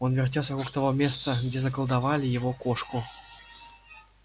он вертелся вокруг того места где заколдовали его кошку